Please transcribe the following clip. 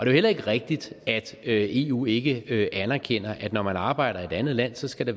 jo heller ikke rigtigt at eu ikke anerkender at når man arbejder i et andet land skal det